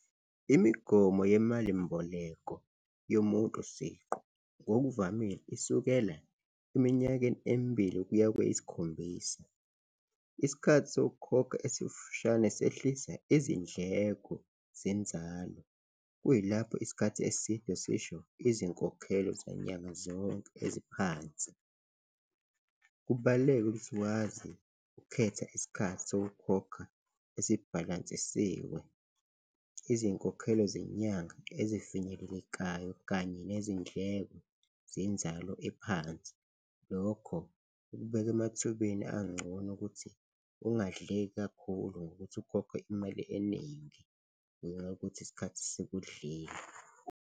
Imigomo yemalimboleko yomuntu siqu ngokuvamile isukela eminyakeni emibili kuya kweyisikhombisa. Isikhathi sokukhokha esifishane sehlisa izindleko zenzalo, kuyilapho isikhathi eside sisho izinkokhelo zanyanga zonke eziphansi. Kubaluleke ukuthi wazi ukukhetha isikhathi sokukhokha esibhalansisiwe, izinkokhelo zenyanga ezifinyelelekayo kanye nezindleko zenzalo ephansi, lokho kukubeka emathubeni angcono ukuthi ungadleki kakhulu ngokuthi ukhokhe imali eningi ngenxa yokuthi isikhathi sikudlile.